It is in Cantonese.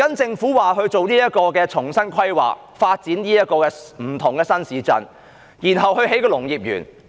政府則表示即將進行重新規劃，發展不同的新市鎮，然後興建農業園。